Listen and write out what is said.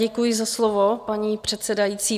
Děkuji za slovo, paní předsedající.